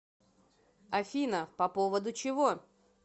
афина по поводу чего